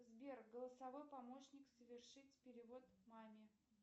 сбер голосовой помощник совершить перевод маме